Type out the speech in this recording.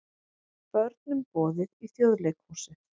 Börnum boðið í Þjóðleikhúsið